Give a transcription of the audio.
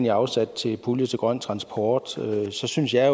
er afsat til pulje til grøn transport og så synes jeg